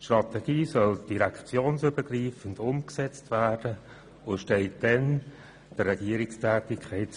Die Strategie soll direktionsübergreifend umgesetzt werden und ist dann eine Grundlage für die Regierungstätigkeit.